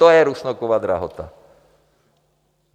To je Rusnokova drahota.